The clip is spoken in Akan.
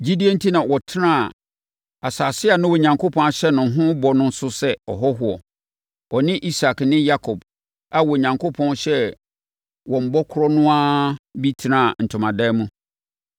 Gyidie enti ɔtenaa asase a na Onyankopɔn ahyɛ no ho bɔ no so sɛ ɔhɔhoɔ. Ɔne Isak ne Yakob a Onyankopɔn hyɛɛ wɔn bɔ korɔ no ara bi tenaa ntomadan mu.